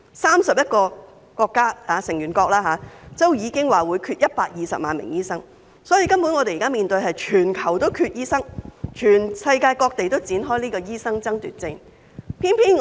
三十一個成員國已經表明會缺少120萬名醫生，可見根本全球都醫生短缺，世界各地均已展開醫生爭奪戰。